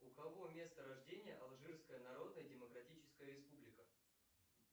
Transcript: у кого место рождения алжирская народная демократическая республика